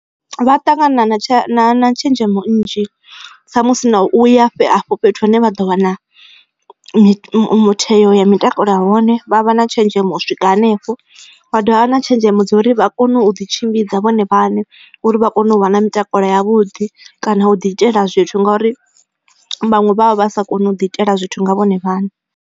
Vha ṱangana na tshenzhemo nnzhi sa musi na u ya afho fhethu hune vha ḓo vha na mutheo ya mitakalo a hone vha vha na tshenzhemo swika hanefho vha dovha na tshenzhemo dza uri vha kone u ḓi tshimbidza vhone vhaṋe uri vha kone u vha na mutakalo yavhuḓi kana u ḓi itela zwithu ngauri vhaṅwe vha vha vha sa koni u ḓi itela zwithu nga vhone vhaṋe.